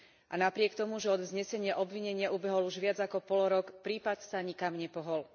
A napriek tomu, že od vznesenia obvinenia ubehol už viac ako polrok, prípad sa nikam nepohol.